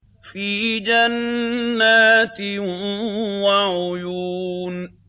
فِي جَنَّاتٍ وَعُيُونٍ